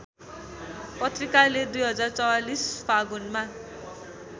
पत्रिकाले २०४४ फागुनमा